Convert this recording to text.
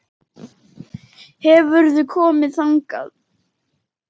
Hefurðu komið þangað?